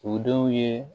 U denw ye